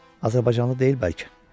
Azərbaycanlı deyil bəlkə?